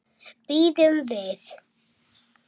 Bíðum við.